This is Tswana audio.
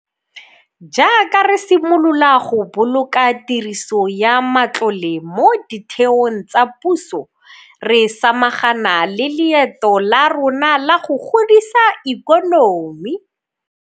Jaaka re simolola go boloka tiriso ya matlole mo ditheong tsa puso, re samagana le leeto la rona la go godisa ikonomi.